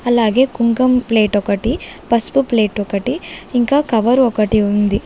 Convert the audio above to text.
అలాగే కుంకుమ ప్లేట్ ఒకటి పసుపు ప్లేట్ ఒకటి ఇంకా కవర్ ఒకటి ఉంది.